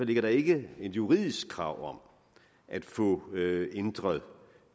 ligger der ikke et juridisk krav om at få ændret